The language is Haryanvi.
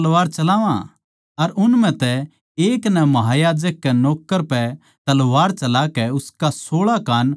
अर उन म्ह तै एक नै महायाजक के नौक्कर पै तलवार चलाकै उसका सोळा कान उड़ा दिया